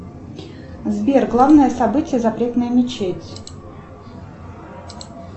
сбер главное событие запретная мечеть